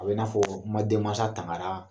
A be na fɔ ma den maasa tangara